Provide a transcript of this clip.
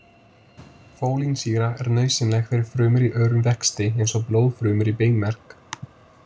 Fólínsýra er nauðsynleg fyrir frumur í örum vexti eins og blóðfrumur í beinmerg.